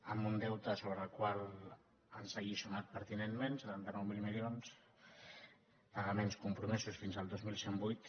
amb un deute sobre el qual ens ha alliçonat pertinentment setanta nou mil milions pagaments compromesos fins al dos mil cent i vuit